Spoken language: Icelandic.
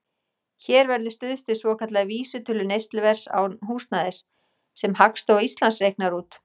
Hér verður stuðst við svokallaða vísitölu neysluverðs án húsnæðis, sem Hagstofa Íslands reiknar út.